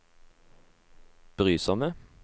brysomme